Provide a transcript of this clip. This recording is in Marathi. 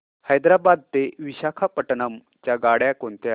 हैदराबाद ते विशाखापट्ण्णम च्या गाड्या कोणत्या